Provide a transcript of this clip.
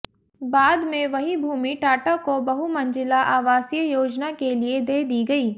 बाद में वही भूमि टाटा को बहुमंजिला आवासीय योजना के लिए दे दी गयी